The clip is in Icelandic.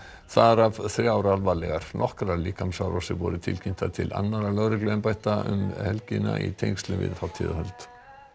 þar af þrjár alvarlegar nokkrar líkamsárásir voru tilkynntar til annarra lögregluembætta um helgina í tengslum við hátíðahöld